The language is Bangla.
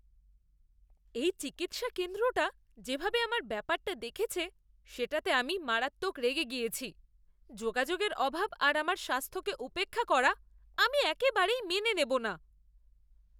এই চিকিৎসা কেন্দ্রটা যেভাবে আমার ব্যাপারটা দেখেছে সেটাতে আমি মারাত্মক রেগে গিয়েছি। যোগাযোগের অভাব আর আমার স্বাস্থ্যকে উপেক্ষা করা আমি একেবারেই মেনে নেব না।